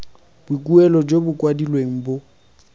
boikuelo jo bo kwadilweng bo